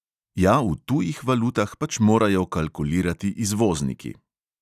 Ja, v tujih valutah pač morajo kalkulirati izvozniki.